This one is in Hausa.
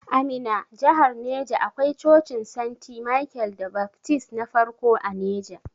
A Minna jahar neja akwai Cocin Senti Michael da Baftist na farko a neja.